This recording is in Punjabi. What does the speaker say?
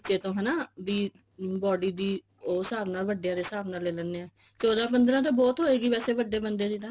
ਨਿੱਚੇ ਤੋਂ ਹਨਾ ਬੀ body ਦੀ ਉਹ ਹਿਸਾਬ ਨਾਲ ਵੱਡਿਆ ਦੇ ਹਿਸਾਬ ਨਾਲ ਲੇ ਲੇਣੇ ਆ ਚੋਦਾ ਪੰਦਰਾਂ ਬਹੁਤ ਹੋਏਗੀ ਵੈਸੇ ਵੱਡੇ ਬੰਦੇ ਦੀ ਤਾਂ